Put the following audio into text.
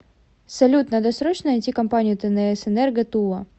салют надо срочно найти компанию тнс энерго тула